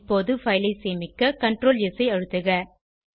இப்போது பைல் ஐ சேமிக்க Ctrls ஐ அழுத்துக